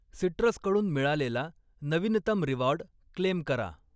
Citrus कडून मिळालेला नवीनतम रिवॉर्ड क्लेम करा.